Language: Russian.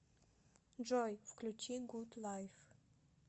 джой включи гуд лайф